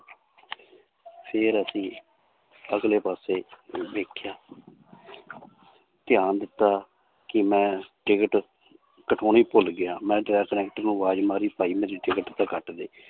ਫਿਰ ਅਸੀਂ ਅਗਲੇ ਪਾਸੇ ਦੇਖਿਆ ਧਿਆਨ ਦਿੱਤਾ ਕਿ ਮੈਂ ਟਿਕਟ ਕਟਵਾਉਣੀ ਭੁੱਲ ਗਿਆ ਮੈਂ ਕੰਡਕਟਰ ਨੂੰ ਆਵਾਜ਼ ਮਾਰੀ ਭਾਈ ਮੇਰੀ ਟਿਕਟ ਤਾਂ ਕੱਟ ਦੇ